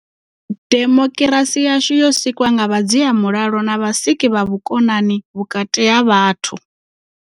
Demokirasi yashu yo sikwa nga vhadzia mulalo na vhasiki vha vhukonani vhukati ha vhathu.